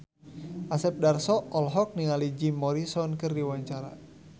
Asep Darso olohok ningali Jim Morrison keur diwawancara